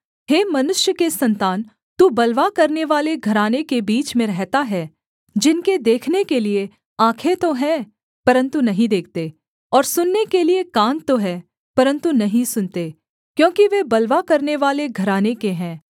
हे मनुष्य के सन्तान तू बलवा करनेवाले घराने के बीच में रहता है जिनके देखने के लिये आँखें तो हैं परन्तु नहीं देखते और सुनने के लिये कान तो हैं परन्तु नहीं सुनते क्योंकि वे बलवा करनेवाले घराने के हैं